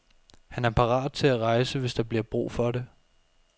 Han er parat til at rejse, hvis der bliver brug for det.